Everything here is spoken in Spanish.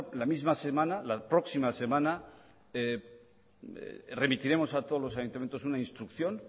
la misma semana la próxima semana remitiremos a todos los ayuntamientos una instrucción